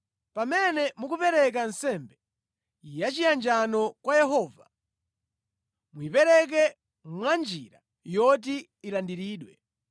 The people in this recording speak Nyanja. “ ‘Pamene mukupereka nsembe yachiyanjano kwa Yehova, muyipereke mwanjira yoti ilandiridwe.